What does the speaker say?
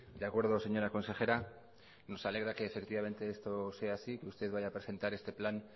de acuerdo señora consejera nos alegra que efectivamente esto sea así que usted vaya a presentar este plan